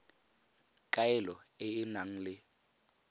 kaelo e e nang le